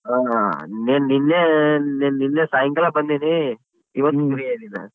ಆ ನೆನ್ ನಿನ್ನೆ ನೆನ್ ನಿನ್ನೆ ಸಾಯಂಕಾಲ ಬಂದೀನಿ ಇವತ್ .